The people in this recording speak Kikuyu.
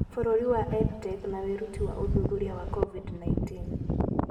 Bũrũri wa EdTech na wĩruti wa ũthuthuria wa COVID-19